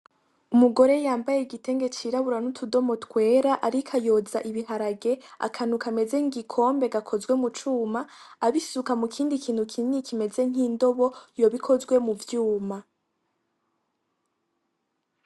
Umugore yambaye igitenge c'irabura n'utudomo twera ariko yoza ibiharage, akantu kameze nk'igikombe gakozwe mu cuma abisuka mu kindi kintu kinini kimeze nk'indobo yoba ikozwe mu vyuma.